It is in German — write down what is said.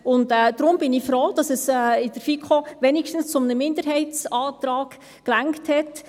Deshalb bin ich froh, dass es in der FiKo wenigstens für einen Minderheitsantrag gereicht hat.